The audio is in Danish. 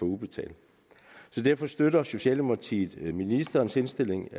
udbetalt så derfor støtter socialdemokratiet ministerens indstilling